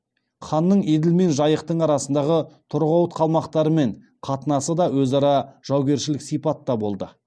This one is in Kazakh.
ханның еділ мен жайықтың арасындағы торғауыт қалмақтарымен қатынасы да өзара жаугершілік сипатта болды